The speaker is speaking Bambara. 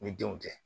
Ni denw tɛ